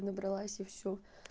набралась и всё